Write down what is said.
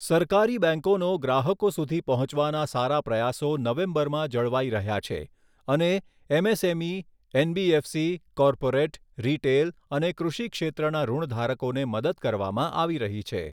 સરકારી બેંકોનો ગ્રાહકો સુધી પહોંચવાના સારા પ્રયાસો નવેમ્બરમાં જળવાઈ રહ્યા છે અને એમએસએમઈ, એનબીએફસી, કોર્પોરેટ, રિટેલ અને કૃષિ ક્ષેત્રના ઋણધારકોને મદદ કરવામાં આવી રહી છે.